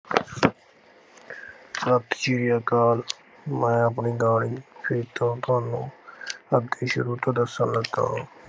ਸਤਿ ਸ੍ਰੀ ਅਕਾਲ ਮੈਂ ਆਪਣੀ ਕਹਾਣੀ ਫਿਰ ਤੋਂ ਤੁਹਾਨੂੰ ਅੱਗੇ ਸ਼ੁਰੂ ਤੋਂ ਦੱਸਣ ਲੱਗਾ ਹਾਂ।